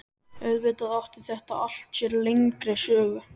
Auðvitað átti þetta allt sér lengri sögu.